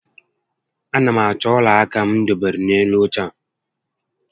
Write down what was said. A na m achọ ọla aka m dobere n'elu óche a